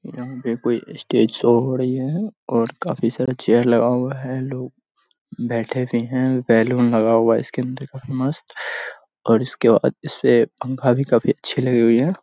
यहाँ पर कोई स्टेज शो हो रही है और काफी सारे चेयर लगा हुआ है लोग बैठे हुए हैं बैलून लगा हुआ है इसके अंदर काफी मस्त और इसके बाद इसपे पंखा भी काफी अच्छी लगी हुई है।